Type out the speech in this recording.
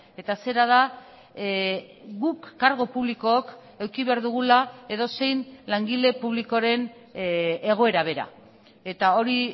eta zera da guk kargu publikook eduki behar dugula edozein langile publikoren egoera bera eta hori